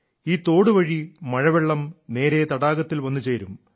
ഈ തോടു വഴി മഴവെള്ളം നേരെ തടാകത്തിൽ വന്നുചേരും